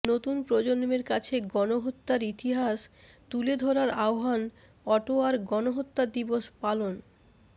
নতুন প্রজন্মের কাছে গণহত্যার ইতিহাস তুলে ধরার আহ্বান অটোয়ার গণহত্যা দিবস পালন